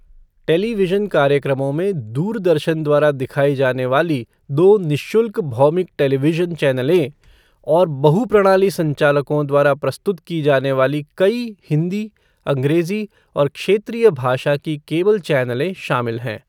Television कार्यक्रमों में दूरदर्शन द्वारा दिखाई जाने वाली दो निःशुल्क भौमिक टेलीविज़न चैनलें और बहु प्रणाली संचालकों द्वारा प्रस्तुत की जाने वाली कई हिंदी, अंग्रेजी और क्षेत्रीय भाषा की केबल चैनलें शामिल हैं।